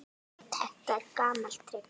Þetta er gamalt trix.